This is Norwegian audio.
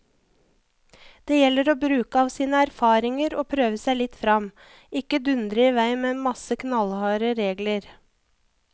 Det gjelder å bruke av sine erfaringer og prøve seg litt frem, ikke dundre i vei med en masse knallharde regler.